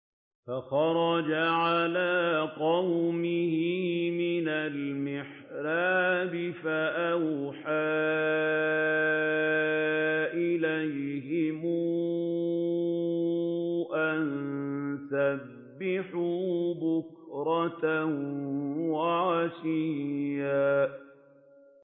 فَخَرَجَ عَلَىٰ قَوْمِهِ مِنَ الْمِحْرَابِ فَأَوْحَىٰ إِلَيْهِمْ أَن سَبِّحُوا بُكْرَةً وَعَشِيًّا